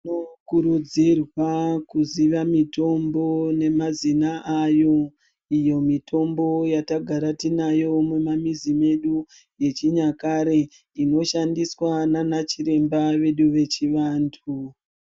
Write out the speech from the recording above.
Tinokurudzirwa kuziva mitombo nemazina ayo . Iyo mitombo yatagara tinayo mumamizi medu yechinyakare inoshandiswe nana chiremba vedu vechivantu.